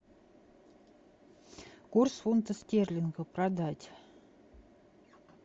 курс фунта стерлинга продать